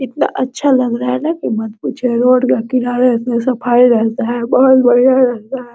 कितना अच्छा लग रहा है ना की मत पूछिए रोड के किनारे इतना सफाई रहता है बहुत बढ़िया लगता है।